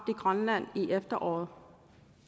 i grønland i efteråret